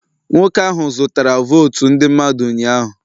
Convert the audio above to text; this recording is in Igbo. Nwoke ahụ zụtara votu ndị mmadụ ụnyahụ